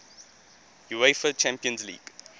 uefa champions league